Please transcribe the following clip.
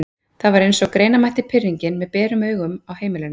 Það var eins og greina mætti pirringinn með berum augum á heimilinu.